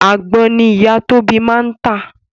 Àgbon ni ìyá Tóbi máa ń tà